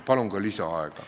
Palun ka lisaaega!